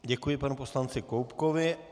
Děkuji panu poslanci Koubkovi.